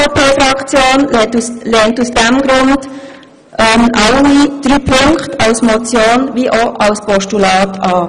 Die SVPFraktion lehnt deshalb alle drei Punkte als Motion wie auch als Postulat ab.